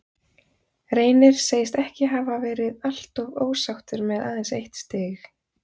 Reynir segist ekki hafa verið alltof ósáttur með aðeins eitt stig.